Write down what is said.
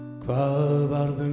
hvað varð um